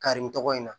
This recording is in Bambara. Kari nin tɔgɔ in na